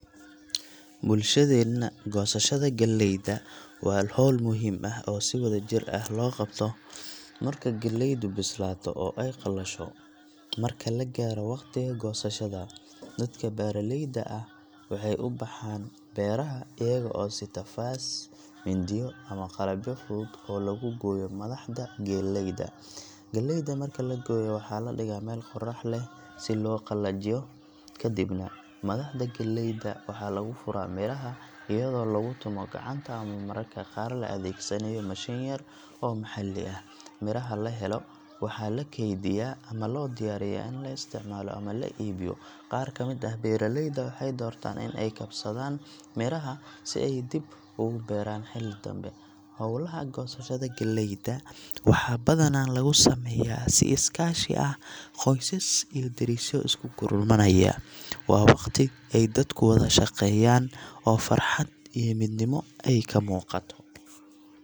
Bulshadeenna, goosashada galleyda waa hawl muhiim ah oo si wadajir ah loo qabto marka galleydu bislaato oo ay qalasho. Marka la gaaro waqtiga goosashada, dadka beeraleyda ah waxay u baxaan beeraha iyaga oo sita faas, mindiyo ama qalabyo fudud oo lagu gooyo madaxda galleyda. Galleyda marka la gooyo, waxaa la dhigaa meel qorrax leh si loo sii qalajiyo. Ka dibna, madaxda galleyda waxaa laga furaa miraha, iyadoo lagu tumo gacanta ama mararka qaar la adeegsanayo mashiin yar oo maxalli ah. Miraha la helo waxaa la keydiyaa ama loo diyaariyaa in la isticmaalo ama la iibiyo. Qaar ka mid ah beeraleyda waxay doortaan in ay kaydsadaan miraha si ay dib ugu beeraan xilli dambe. Hawlaha goosashada galleyda waxaa badanaa lagu sameeyaa si is-kaashi ah, qoysas iyo derisyo isku gurmanaya. Waa waqti ay dadku wada shaqeeyaan oo farxad iyo midnimo ay ka muuqato.